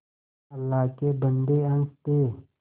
अल्लाह के बन्दे हंस दे